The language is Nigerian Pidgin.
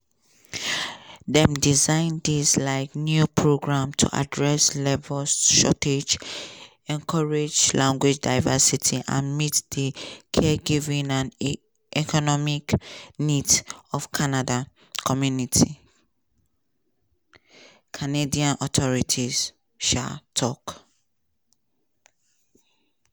dem design dis um new programs to address labor shortages encourage language diversity and meet di caregiving and economic needs of canada communities canadian authorties um tok.